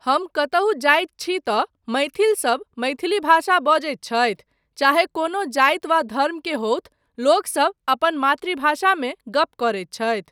हम कतहुँ जाइत छी तँ मैथिलसब मैथिली भाषा बजैत छथि, चाहे कोनो जाति वा धर्म केँ होथु, लोकसब अपन मातृभाषामे गप करैत छथि।